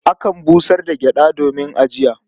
Akan busar da gyaɗa domin ajiya.